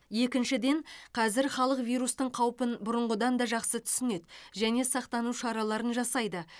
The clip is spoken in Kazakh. екіншіден қазір халық вирустың қаупін бұрынғыдан да жақсы түсінеді және сақтану шараларын жасайды